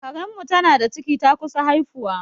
Karen mu tana da ciki, ta kusa haifuwa